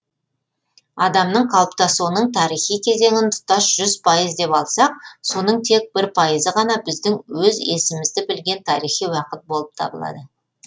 адамның қалыптасуының тарихи кезеңін тұтас жүз пайыз деп алсақ соның тек бір пайызы ғана біздің өз есімізді білген тарихи уақыт болып табылады